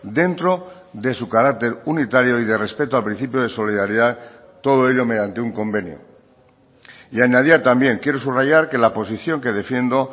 dentro de su carácter unitario y de respeto a principio de solidaridad todo ello mediante un convenio y añadía también quiero subrayar que la posición que defiendo